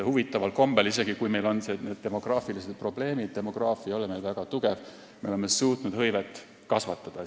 Huvitaval kombel, isegi kui meil on demograafilised probleemid, demograafiline olukord ei ole meil väga tugev, oleme me suutnud hõivet kasvatada.